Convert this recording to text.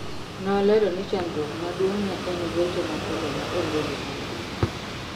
Nolero ni chandruok maduong' ne en gocho mapile ma onge gimomiyo